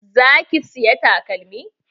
Za ki saya takalmin?